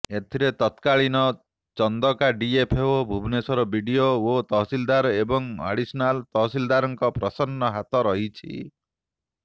ଏଥିରେ ତକ୍ରାଳୀନ Chandaka DFO Bhubaneswar BDO ଓ ତହସିଲଦାର ଏବଂ ଆଡ଼ିସନାଲ ତହସିଲଦାରଙ୍କର ପ୍ରଚ୍ଛନ୍ନ ହାତ ରହିଛି